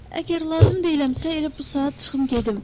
Əgər lazım deyiləmsə elə bu saat çıxım gedim.